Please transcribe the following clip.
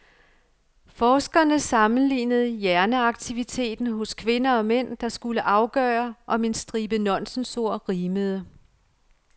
Forskerne sammenlignede hjerneaktiviteten hos kvinder og mænd, der skulle afgøre, om en stribe nonsensord rimede.